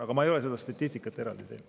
Aga ma ei ole seda statistikat eraldi teinud.